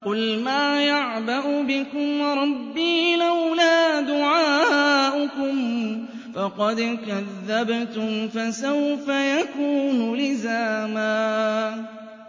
قُلْ مَا يَعْبَأُ بِكُمْ رَبِّي لَوْلَا دُعَاؤُكُمْ ۖ فَقَدْ كَذَّبْتُمْ فَسَوْفَ يَكُونُ لِزَامًا